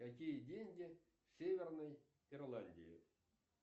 какие деньги в северной ирландии